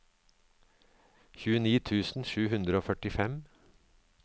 tjueni tusen sju hundre og førtifem